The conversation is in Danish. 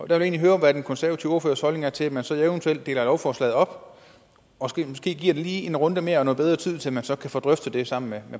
der vil jeg høre hvad den konservative ordførers holdning er til at man så eventuelt deler lovforslaget op og måske lige giver det en runde mere og noget bedre tid til at man så kan få drøftet det sammen med